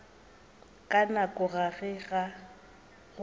ka nako ya ge go